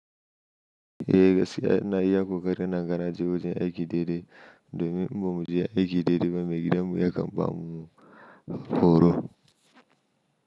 E gaskiya ina iya ƙoƙarin naje wajen aiki daidai. Domin in bamu je aiki daidai ba me gidan mu yakan bamu horo.